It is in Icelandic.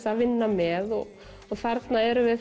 að vinna með þarna erum við